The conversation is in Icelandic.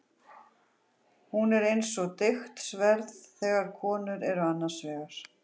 Hún er eins og deigt sverð þegar konur eru annars vegar.